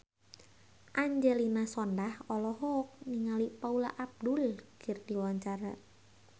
Angelina Sondakh olohok ningali Paula Abdul keur diwawancara